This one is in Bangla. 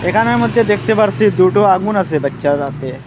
এখানের মধ্যে দেখতে পারছি দুটো আগুন আসে বাইচ্চার হাতে।